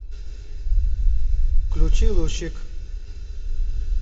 включи лучик